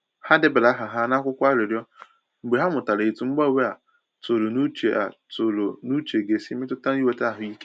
Ha debara aha ha n’akwụkwọ arịrịọ mgbe ha mụtara etu mgbanwe a tụrụ n’uche a tụrụ n’uche ga esi mmetụta inweta ahụike.